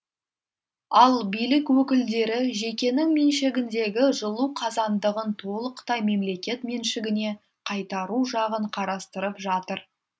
ал билік өкілдері жекенің меншігіндегі жылу қазандығын толықтай мемлекет меншігіне қайтару жағын қарастырып жатыр